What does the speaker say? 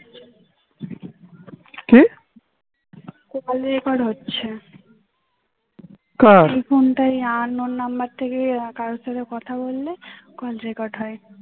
এই ফোনটাই unknown number থেকে কার সাথে কথা বলল call record হয়